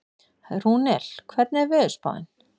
Rúnel, hvernig er veðurspáin?